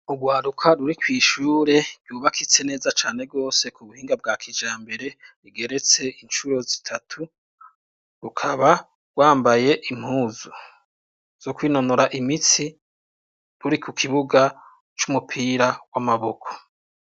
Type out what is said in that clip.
Urwaruka ruri kw'ishure ryubakitse neza cane rwose ku buhinga bwa kijambere, rigeretse incuro zitatu; rukaba rwambaye impuzu zo kwinonora imitsi, ruri ku kibuga c'umupira w'amaboko.